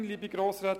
Ich wiederhole.